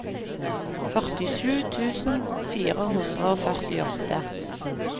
førtisju tusen fire hundre og førtiåtte